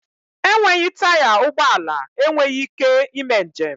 Enweghị taya ụgbọ ala enweghị ike ị mee m'jem